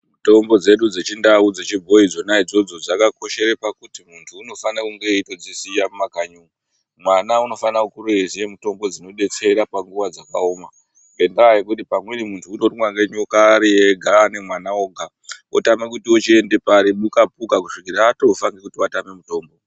Mitombo dzedu dzechindau, dzechiboyi idzona idzodzo dzakakoshera pakuti muntu unofana kunge aiziva mumakanyi umu ,mwana anofana kukura aiziva mutombo dzinobetsera panguva dzakaoma ngenda yekuti pamweni muntu munorumwa nenyoka ari ega ,ana mwana oga otama kuti ochienda pari puka puka kusvikira atofa nekuti atama mutombo.